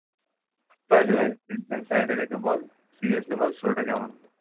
by the way tension side এ রেখে বল, seriously বল show টা কেমন হলো?